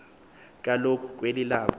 kaloku kweli labo